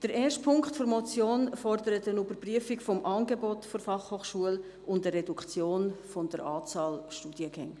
Der erste Punkt der Motion fordert eine Überprüfung des Angebotes der BFH und eine Reduktion der Anzahl Studiengänge.